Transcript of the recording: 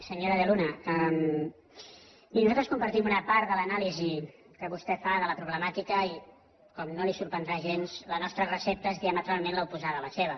senyora de luna miri nosaltres compartim una part de l’anàlisi que vostè fa de la problemàtica i com no li sorprendrà gens la nostra recepta és diametralment oposada a la seva